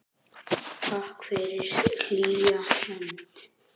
Takk fyrir hlýja hönd.